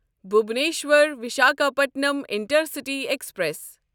Bhubaneswar Visakhapatnam intercity express